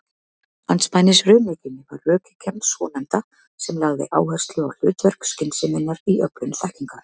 Andspænis raunhyggjunni var rökhyggjan svonefnda sem lagði áherslu á hlutverk skynseminnar í öflun þekkingar.